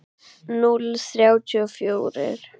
Núll þrjátíu og fjórir.